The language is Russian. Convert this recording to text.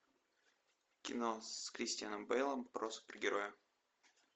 кино с кристианом бэйлом про супергероя